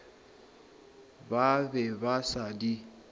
ba be ba sa di